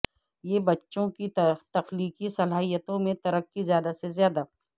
یہ بچوں کی تخلیقی صلاحیتوں میں ترقی زیادہ سے زیادہ